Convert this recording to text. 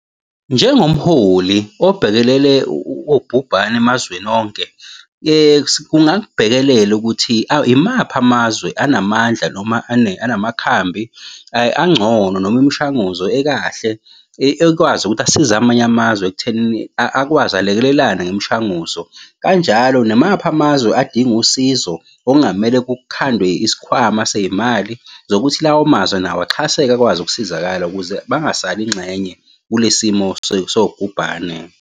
Njengomholi obhekelele ubhubhane emazweni onke, kungakubhekelela ukuthi imaphi amazwe anamandla noma anamakhambi angcono noma imishanguzo ekahle ekwazi ukuthi asize amanye amazwe ekuthenini akwazi alekelelane ngemishanguzo. Kanjalo namaphi amazwe adinga usizo okungamele kukhandwe isikhwama sey'mali zokuthi lawo mazwe nawo axhaseke akwazi ukusizakala ukuze bangasali ngxenye kule simo sobhubhane.